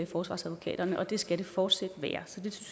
forsvarsadvokaterne og det skal det fortsat være så det